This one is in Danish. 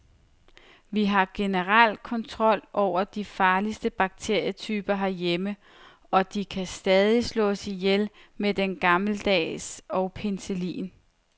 Vi har generelt kontrol over de farligste bakterietyper herhjemme, og de kan stadig slås ihjel med den gammeldags og penicillin.